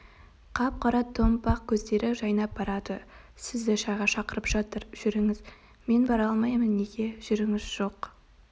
қап-қара томпақ көздері жайнап барады сізді шайға шақырып жатыр жүріңіз мен бара алмаймын неге жүріңіз жоқ